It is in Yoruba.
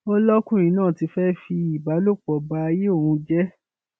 ó lọkùnrin náà ti fẹẹ fi ìbálòpọ báyé òun jẹ